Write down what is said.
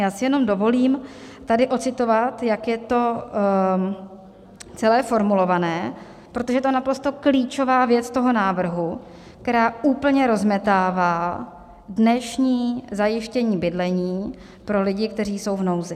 Já si jenom dovolím tady odcitovat, jak je to celé formulované, protože to je naprosto klíčová věc toho návrhu, která úplně rozmetává dnešní zajištění bydlení pro lidí, kteří jsou v nouzi.